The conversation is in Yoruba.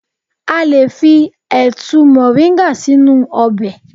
A le fi ẹ̀tu moringa sínú ọbẹ̀.